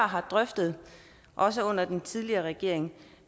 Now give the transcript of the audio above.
har drøftet også under den tidligere regering